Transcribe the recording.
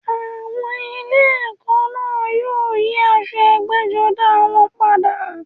Àwọn ilé ẹ̀kọ́ náà yóò yí aṣọ ẹgbẹ́-jọdá wọn padà.